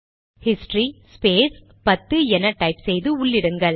history space 10 என type செய்து உள்ளிடுங்கள்